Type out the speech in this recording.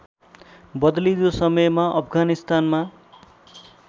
बदलिँदो समयमा अफगानिस्तानमा